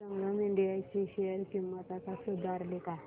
संगम India ची share किंमत आता सुधारली का